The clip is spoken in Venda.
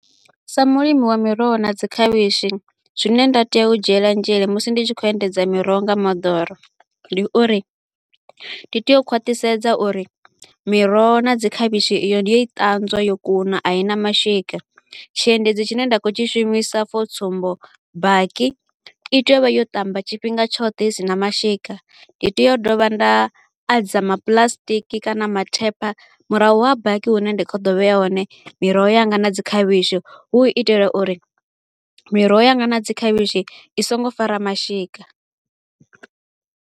Sa mulimi wa miroho na dzi khavhishi, zwine nda tea u dzhiela nzhele musi ndi tshi kho u endedza miroho nga moḓoro ndi uri, ndi tea u khwaṱhisedza uri miroho na dzi khavhishi iyo ndi yo i ṱanzwa yo kuna a i na mashika. Tshiendedzi tshine nda kho u tshi shumisa for tsumbo, baki, i tea u vha yo ṱamba tshifhinga tshoṱhe i sina mashika. Ndi tea u dovha nda adza maplasṱiki kana mathepha murahu ha baki hune nda kho u ḓo vheya hone miroho yanga na dzi khavhishi, hu u itela uri miroho yanga na dzi khavhishi i so ngo fara mashika.